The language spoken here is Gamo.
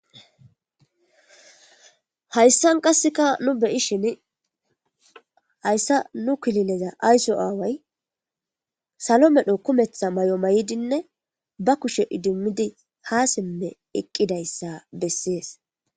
hayssan qasseka nu beyi shin hayssa nu kilileza ayso aaway salo medho kumetha may7o may7dinne ba kushe idimidi ha simme eqqidayssa bessees